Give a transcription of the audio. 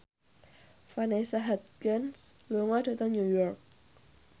Vanessa Hudgens lunga dhateng New York